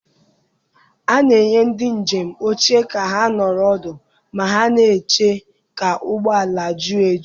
A na-enye ndị njem oche ka ha nọrọ ọdụ ma ha na-eche ka ụgbọ ala ju eju.